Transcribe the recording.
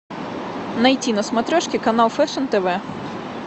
найти на смотрешке канал фэшн тв